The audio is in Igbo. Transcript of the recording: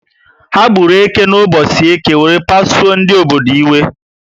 Ha gburu eke na ubosi Eke were pasuo ndị obodo iwe